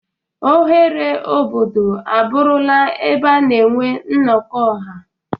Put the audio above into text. Oghere obodo abụrụla ebe a na-enwe nnọkọ ọha.